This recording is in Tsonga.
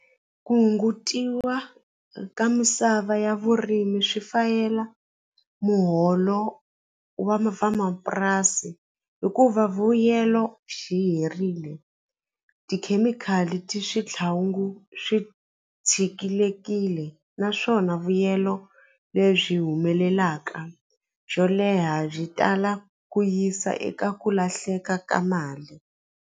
Ku hungutiwa ka misava ya vurimi swi fayela muholo wa vamapurasi hikuva vuyelo xi herile tikhemikhali ti switlhangu swi tshikilekile naswona vuyelo lebyi humelelaka xo leha byi tala ku yisa eka ku lahleka ka mali.